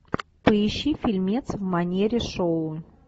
поищи фильмец в манере шоу